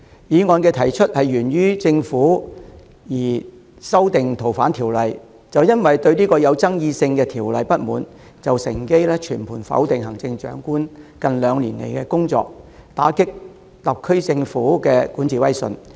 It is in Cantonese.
反對派提出這項議案源於政府擬修訂《逃犯條例》，就因為他們不滿相關具爭議性的修訂建議，便趁機全盤否定行政長官近兩年來的工作，打擊特區政府的管治威信。